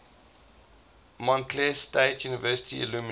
montclair state university alumni